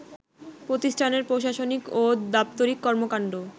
প্রতিষ্ঠানের প্রশাসনিক ও দাপ্তরিক কর্মকাণ্ড